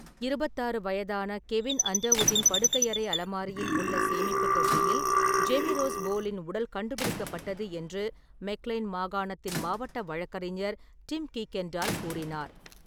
இருபத்தாறு வயதான கெவின் அண்டர்வுட்டின் படுக்கையறை அலமாரியில் உள்ள சேமிப்பு தொட்டியில் ஜேமி ரோஸ் போலின் உடல் கண்டுபிடிக்கப்பட்டது என்று மெக்லைன் மாகாணத்தின் மாவட்ட வழக்கறிஞர் டிம் குய்கெண்டால் கூறினார்.